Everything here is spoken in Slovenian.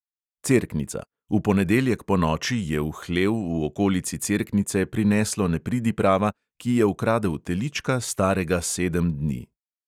Cerknica: v ponedeljek ponoči je v hlev v okolici cerknice prineslo nepridiprava, ki je ukradel telička, starega sedem dni.